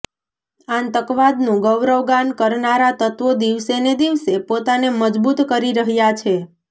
આતંકવાદનું ગૌરવગાન કરનારા તત્વો દિવસેને દિવસે પોતાને મજબૂત કરી રહ્યા છે